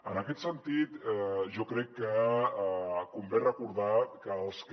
en aquest sentit jo crec que convé recordar que els que